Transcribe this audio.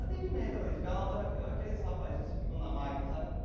Atendimento ali, ficar no altar aquele aqueles rapazes que ficam na máquina, sabe?